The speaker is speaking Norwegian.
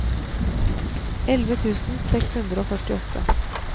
elleve tusen seks hundre og førtiåtte